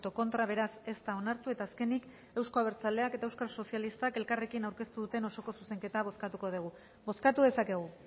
contra beraz ez da onartu eta azkenik euzko abertzaleak eta eusko sozialistak elkarrekin aurkeztu duten osoko zuzenketa bozkatuko dugu bozkatu dezakegu